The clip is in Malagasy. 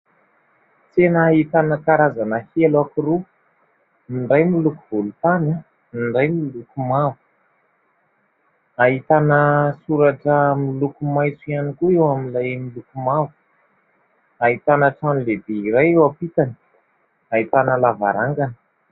Tsena ahitana karazana elo anankiroa, ny iray miloko volontany, ny iray miloko mavo, ahitana soratra miloko maitso ihany koa eo amin'ilay miloko mavo, ahitana trano lehibe iray eo ampitany, ahitana lavarangana.